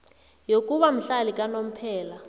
yokuba mhlali kanomphela